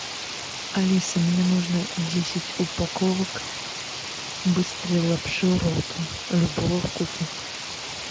алиса мне нужно десять упаковок быстрой лапши ролтон любого вкуса